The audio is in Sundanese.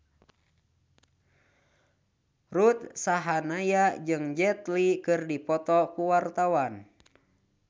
Ruth Sahanaya jeung Jet Li keur dipoto ku wartawan